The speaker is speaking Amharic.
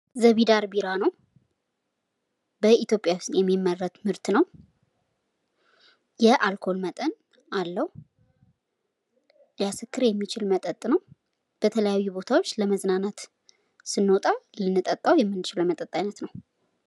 ዘቢደር ቢራ ነው። በኢትዮጵያ ዉስጥ የሚመረት ምርት ነው። የአልኮል መጠን አለው። ሊያስክር የሚችል መጠጥ ነው። በተለያዩ ቦታዎች ለመዝናናት ስንወጣ ልንጠጣው የምንችለው የመጠጥ አይነት ነው።